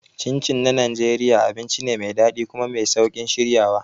Chin Chin na Najeriya abinci ne mai daɗi kuma mai sauƙin shiryawa.